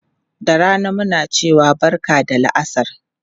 Da rana muna cewa barka da la'asar.